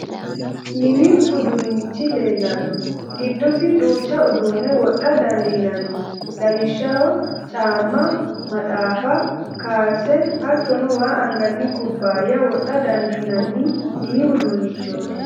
Mini uduunnichi leellanno. Giddosi duucha uduunne wodha dandiinanni lawishshaho, caamma, maxaaffa, kaalse, hattono waa anganni kubbaayya wodha dandiinanni mini uduunnichooti.